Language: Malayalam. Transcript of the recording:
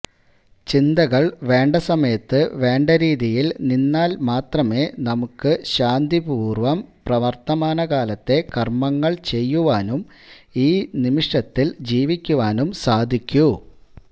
ചിന്തകള് വേണ്ടസമയത്ത് വേണ്ടരീതിയില് നിന്നാല് മാത്രമേ നമുക്കു ശാന്തിപൂര്വം വര്ത്തമാനകാലത്തെ കര്മങ്ങള് ചെയ്യുവാനും ഈ നിമിഷത്തില് ജീവിക്കുവാനും സാധിക്കൂ